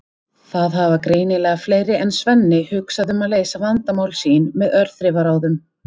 Það hafa greinilega fleiri en Svenni hugsað um að leysa vandamál sín með örþrifaráðum!